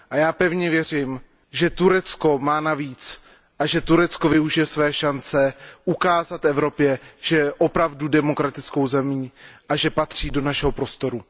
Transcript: A já pevně věřím, že Turecko má na víc a že Turecko využije své šance ukázat Evropě, že je opravdu demokratickou zemí a že patří do našeho prostoru.